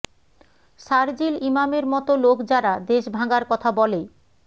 শারজিল ইমামের মতো লোক যারা দেশ ভাঙার কথা বলে